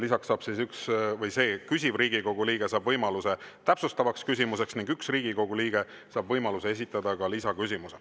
Lisaks saab küsiv Riigikogu liige võimaluse täpsustavaks küsimuseks ning üks Riigikogu liige saab võimaluse esitada ka lisaküsimuse.